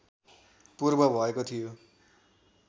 पूर्व भएको थियो